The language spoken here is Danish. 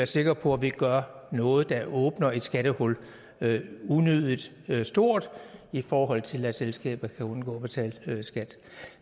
sikre på at vi ikke gør noget der åbner et skattehul unødig stort i forhold til at selskaber kan undgå at betale skat